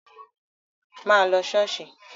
Má lọ ṣọ́ọ̀ṣì!